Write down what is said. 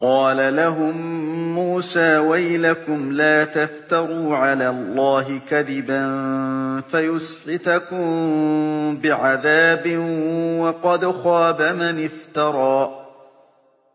قَالَ لَهُم مُّوسَىٰ وَيْلَكُمْ لَا تَفْتَرُوا عَلَى اللَّهِ كَذِبًا فَيُسْحِتَكُم بِعَذَابٍ ۖ وَقَدْ خَابَ مَنِ افْتَرَىٰ